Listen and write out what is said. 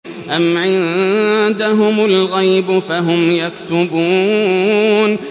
أَمْ عِندَهُمُ الْغَيْبُ فَهُمْ يَكْتُبُونَ